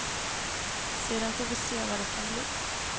Sedan får vi se vad det kan bli.